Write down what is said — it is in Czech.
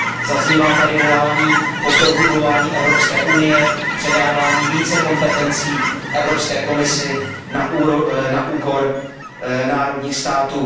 Zaznívá tady volání po prohlubování Evropské unie, předávání více kompetencí Evropské komisi na úkor členských států.